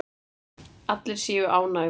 Allir séu ánægðir.